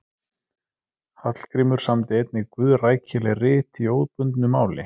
Hallgrímur samdi einnig guðrækileg rit í óbundnu máli.